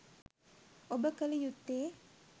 ඔබ කල යුත්තේ